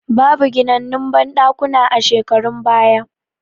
Babu ginannun banɗakuna a shekarun baya